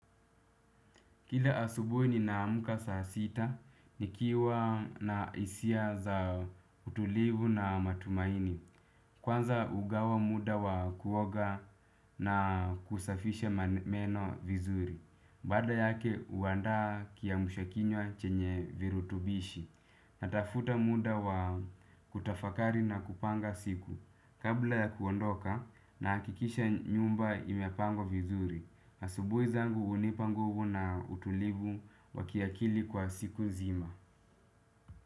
Kila asubuhi ninaamka saa sita, nikiwa na hisia za utulivu na matumaini. Kwanza hugawa muda wa kuoga na kusafisha meno vizuri. Baada yake, huandaa kiamsha kinywa chenye virutubishi. Natafuta muda wa kutafakari na kupanga siku. Kabla ya kuondoka nahakikisha nyumba imepangwa vizuri. Asubuhi zangu hunipa nguvu na utulivu wa kiakili kwa siku nzima.